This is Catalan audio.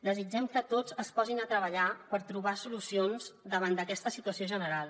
desitgem que tots es posin a treballar per trobar solucions davant d’aquesta situació general